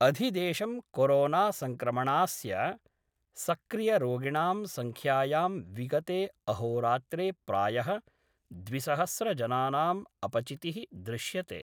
अधिदेशं corona संक्रमणास्य सक्रियरोगिणां संख्यायां विगते अहोरात्रे प्राय: द्विसहस्रजनानां अपचिति: दृश्यते।